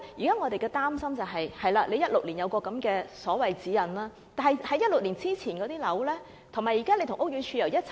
我們現時所擔心是，當局在2016年制訂了所謂《設計指引》，但2016年之前落成的樓宇現時又如何呢？